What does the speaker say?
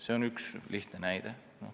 See on üks lihtne näide.